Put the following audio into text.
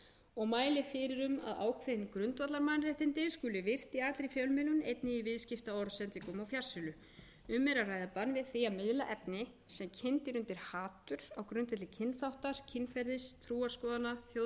og mælir fyrir um að ákveðin grundvallarmannréttindi skuli virt í allri fjölmiðlun einnig í viðskiptaorðsendingum og fjarsölu um er að ræða bann við því að miðla efni sem kyndir undir hatur á grundvelli kynþáttar kynferðis trúarskoðana þjóðernis stjórnmálaskoðana eða menningarlegrar